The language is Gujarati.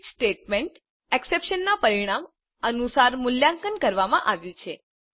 સ્વિચ સ્ટેટમેન્ટ એક્ષપ્રેશનના પરિણામ અનુસાર મૂલ્યાકંન કરવામાં આવ્યું છે